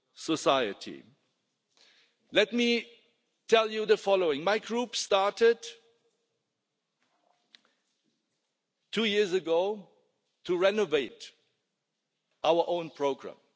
society. Let me tell you the following my Group started two years ago to renew our own programme.